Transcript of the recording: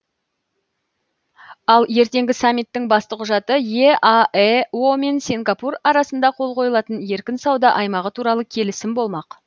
ал ертеңгі саммиттің басты құжаты еаэо мен сингапур арасында қол қойылатын еркін сауда аймағы туралы келісім болмақ